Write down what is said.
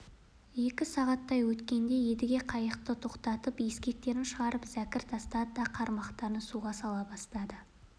екі сағаттай өткенде едіге қайықты тоқтатып ескектерін шығарып зәкір тастады да қармақтарын суға сала бастады